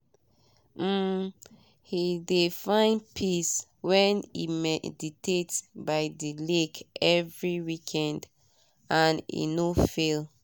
um he de find peace when e meditate by de lake every weekend and he no fail.